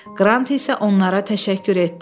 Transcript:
Qrant isə onlara təşəkkür etdi.